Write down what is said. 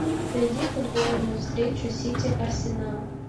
найди футбольную встречу сити арсенал